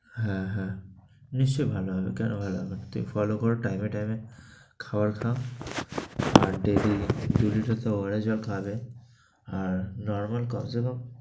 হ্যাঁ হ্যাঁ, নিশ্চয় ভালো হবে, কেনো ভালো হবে না? তুমি follow করো time এ time এ, খাওয়ার খাও, আর daily দুই তো liter ওয়ারিশের জল খাবে, আর normal কমছে কম